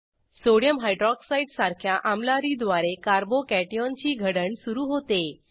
sodium hydroxide सारख्या आम्लारीद्वारे carbo cation ची घडण सुरू होते